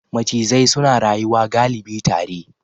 Macizai suna rayuwa galibi tare.